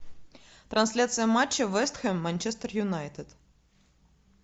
трансляция матча вест хэм манчестер юнайтед